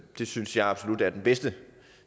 det synes jeg absolut er den bedste